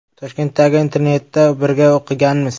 Toshkentdagi internatda birga o‘qiganmiz.